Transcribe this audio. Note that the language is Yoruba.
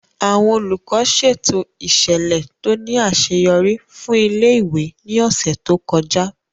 Àwọn Olùkọ́ ṣètò ìṣẹ̀lẹ̀ tó ní àṣeyọrí fún ilé-ìwé ní ọ̀sẹ̀ tó kọjá